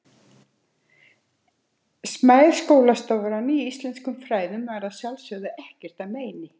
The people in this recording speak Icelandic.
Smæð skólastofunnar í íslenskum fræðum var að sjálfsögðu ekkert að meini.